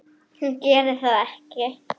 Hún gerir það ekki.